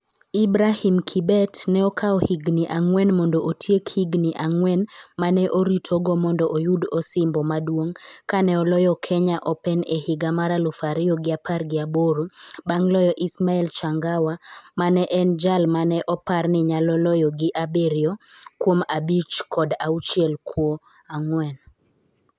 Ibrahim Kibet ne okawo higni ang'wen mondo otiek higni ang'wen ma ne oritogo mondo oyud osimbo maduong' kane oloyo Kenya Open e higa mar aluf ariyo gi apar gi aboro bang' loyo Ismael Changawa ma ne en jal ma ne opar ni nyalo loyo gi abiriyo kuom abich kod auchiel kuo, ang'wen.